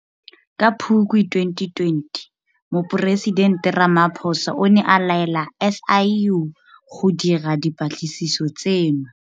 Ka Phukwi 2020 Moporesitente Ramaphosa o ne a laela SIU go dira dipatlisiso tseno.